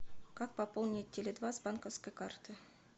как пополнить теле два с банковской карты